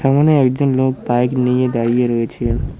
সামোনে একজন লোক বাইক নিয়ে দাঁড়িয়ে রয়েছে।